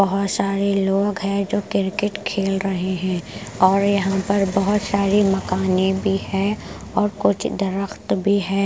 बहुत सारे लोग हैं जो क्रिकेट खेल रहे हैं और यहाँ पर बहुत सारी मकान भी है और कुछ दरख्त भी है ।